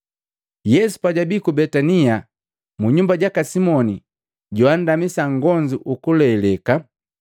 Yesu pajwabii ku Betania, mu nyumba jaka Simoni joandamisa ugonzu ukuleleka,